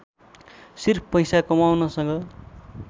सिर्फ पैसा कमाउनसँग